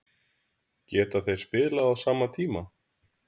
Geta þeir spilað á sama tíma?